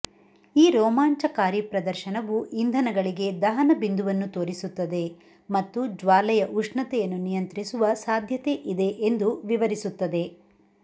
ಈ ರೋಮಾಂಚಕಾರಿ ಪ್ರದರ್ಶನವು ಇಂಧನಗಳಿಗೆ ದಹನ ಬಿಂದುವನ್ನು ತೋರಿಸುತ್ತದೆ ಮತ್ತು ಜ್ವಾಲೆಯ ಉಷ್ಣತೆಯನ್ನು ನಿಯಂತ್ರಿಸುವ ಸಾಧ್ಯತೆಯಿದೆ ಎಂದು ವಿವರಿಸುತ್ತದೆ